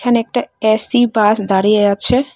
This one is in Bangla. অনেকটা এ_সি বাস দাঁড়িয়ে আছে।